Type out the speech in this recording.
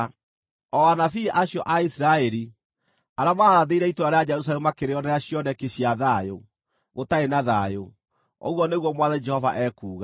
o anabii acio a Isiraeli, arĩa maarathĩire itũũra rĩa Jerusalemu makĩrĩonera cioneki cia thayũ, gũtaarĩ na thayũ, ũguo nĩguo Mwathani Jehova ekuuga.” ’